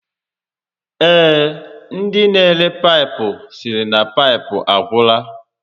Ee, ndi n'ere paịpụ sịrị na paịpụ agwụla